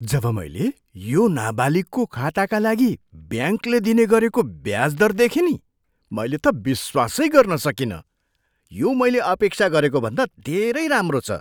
जब मैले यो नाबालिगको खाताका लागि ब्याङ्कले दिने गरेको ब्याज दर देखेँ नि मैले त विश्वासै गर्न सकिनँ! यो मैले अपेक्षा गरेको भन्दा धेरै राम्रो छ।